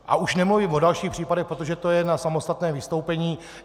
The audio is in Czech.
A už nemluvím o dalších případech, protože to je na samostatné vystoupení.